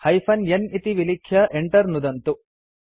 hyphen n इति विलिख्य enter नुदन्तु